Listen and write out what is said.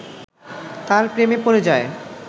তার প্রেমে পড়ে যায়